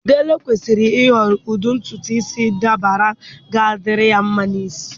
Dele kwesịrị ịhọrọ ụdị ntutu isi dabara ga-adịrị ya mma n'isi.